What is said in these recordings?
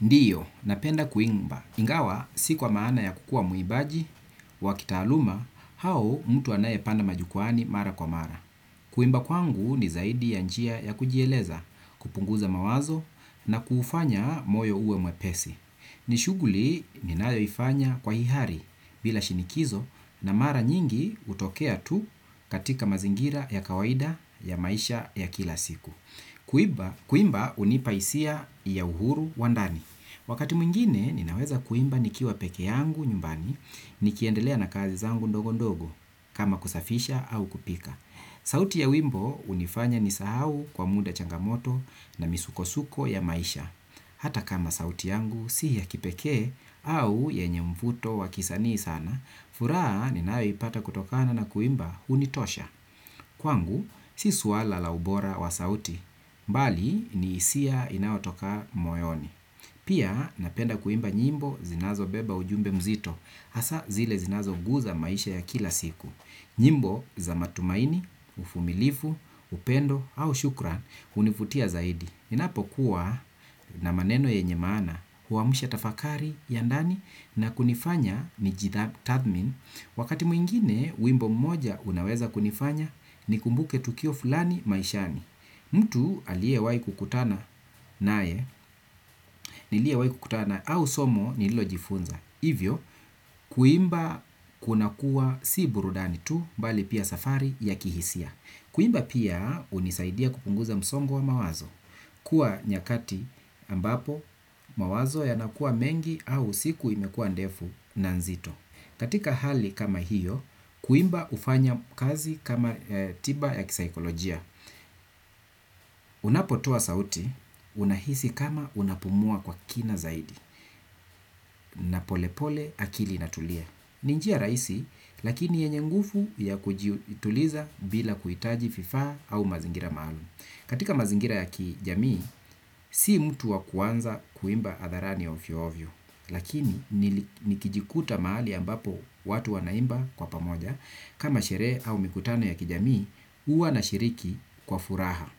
Ndiyo, napenda kuimba. Ingawa si kwa maana ya kukua muibaji wa kitaaluma hau mtu anaye panda majukwani mara kwa mara. Kuimba kwangu ni zaidi ya njia ya kujieleza kupunguza mawazo na kufanya moyo uwe mwepesi. Ni shuguli ninayoifanya kwa hihari bila shinikizo na mara nyingi utokea tu katika mazingira ya kawaida ya maisha ya kila siku. Kuimba unipa hisia ya uhuru wa ndani. Wakati mwingine ninaweza kuimba nikiwa peke yangu nyumbani. Nikiendelea na kazi zangu ndogo ndogo kama kusafisha au kupika sauti ya wimbo unifanya nisahau kwa muda changamoto na misuko-suko ya maisha. Hata kama sauti yangu si ya kipeke au yenye mfuto wakisanii sana furaha ninayo ipata kutokana na kuimba unitosha. Kwangu, si swala la ubora wa sauti, mbali ni hisia inayotoka moyoni. Pia napenda kuimba nyimbo zinazo beba ujumbe mzito, hasa zile zinazo guza maisha ya kila siku. Nyimbo za matumaini, ufumilifu, upendo au shukran, univutia zaidi. Ninapo kuwa na maneno yenye maana huwamsha tafakari ya ndani na kunifanya ni ji tathmin. Wakati mwingine wimbo mmoja unaweza kunifanya ni kumbuke tukio fulani maishani. Mtu aliewai kukutana nae niliewai kukutana au somo nililo jifunza. Hivyo kuimba kuna kuwa si burudani tu mbali pia safari ya kihisia. Kuimba pia unisaidia kupunguza msongo wa mawazo. Kuwa nyakati ambapo mawazo yanakua mengi au siku imekua ndefu na nzito. Katika hali kama hiyo, kuimba ufanya kazi kama tiba ya kisaikolojia. Unapotoa sauti, unahisi kama unapumua kwa kina zaidi. Na pole pole akili inatulia. Ni njia rahisi, lakini yenye nguvu ya kujituliza bila kuitaji vifaa au mazingira maalum. Katika mazingira ya kijamii, sii mtu wa kuanza kuimba hadharani ya ufyo-ovyo, lakini nikijikuta mahali ambapo watu wanaimba kwa pamoja, kama sherehe au mikutano ya kijamii, uwa nashiriki kwa furaha.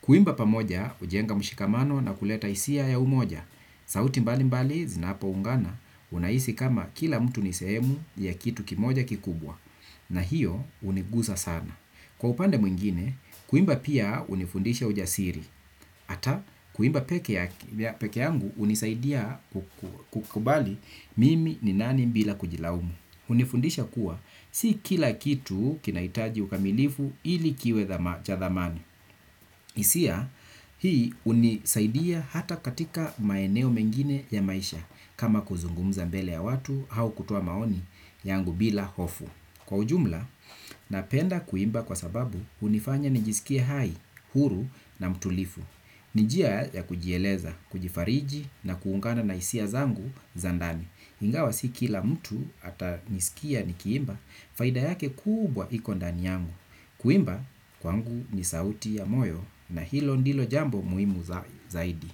Kuimba pamoja, ujenga mshikamano na kuleta hisia ya umoja. Sauti mbali mbali, zinapo ungana, unahisi kama kila mtu ni sehemu ya kitu kimoja kikubwa, na hiyo unigusa sana. Kwa upande mwingine, kuimba pia unifundisha ujasiri, ata kuimba peke yangu unisaidia kukubali mimi ni nani bila kujilaumu. Unifundisha kuwa, si kila kitu kinaitaji ukamilifu ili kiwe cha thamani. hIsia, hii unisaidia hata katika maeneo mengine ya maisha, kama kuzungumza mbele ya watu, hau kutoa maoni yangu bila hofu. Kwa ujumla, napenda kuimba kwa sababu unifanya nijisikie hai, huru na mtulifu. Ni njia ya kujieleza, kujifariji na kuungana na hisia zangu za ndani. Ingawa si kila mtu atanisikia ni kiimba, faida yake kubwa iko ndani yangu. Kuimba kwangu ni sauti ya moyo na hilo ndilo jambo muhimu zaidi.